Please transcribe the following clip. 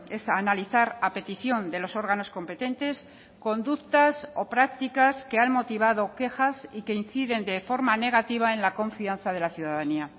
es analizar a petición de los órganos competentes conductas o prácticas que han motivado quejas y que inciden de forma negativa en la confianza de la ciudadanía